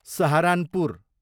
Saharanpur